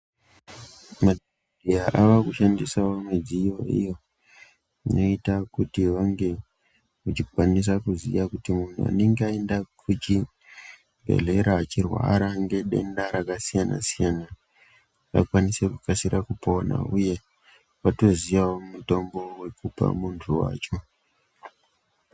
Muzvibhedhleya avakushandisa mudziyo iyo inoita kuti vange echikwanisa kuziya kuti muntu anenge aenda kuchibhedhlera eirwara ngedenda rakasiyana siyana akwanise kukasire kupona uye atoziyawo mitombo dzekupa muntu wacho.